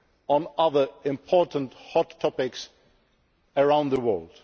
on other important hot topics around the world.